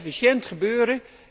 Het moet efficiënt gebeuren.